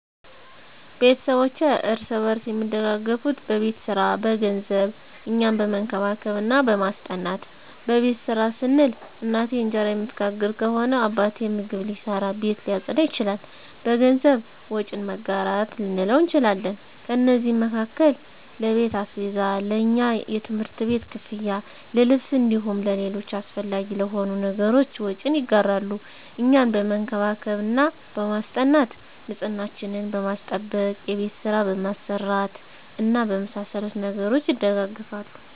ቤተስቦቼ እርስ በርስ አሚደጋገፋት በቤት ሰራ፣ በገንዘብ፣ እኛን በመንከባከብ እና በማስጠናት። በቤት ስራ ስንል፦ እናቴ እንጀራ እምትጋግር ከሆነ አባቴ ምግብ ሊሰራ፣ ቤት ሊያፀዳ ይችላል። በገንዘብ፦ ወጪን መጋራት ልንለው እንችላለን። ከነዚህም መካከል ለቤት አስቤዛ፣ ለእኛ የትምህርት ቤት ክፍያ፣ ለልብስ እንዲሁም ለሌሎች አሰፈላጊ ለሆኑ ነገሮች ወጪን ይጋራሉ። እኛን በመንከባከብ እና በማስጠናት፦ ንፅህናችንን በማስጠበቅ፣ የቤት ስራ በማሰራት እና በመሳሰሉት ነገሮች ይደጋገፋሉ።